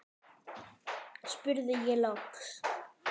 spurði ég loks.